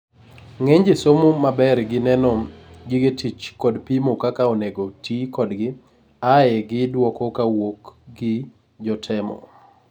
ng'eny jii somo maber gi neno gige tich kod pimo kaka onego tii kodgi ae gi duoko kawuok gi jotemo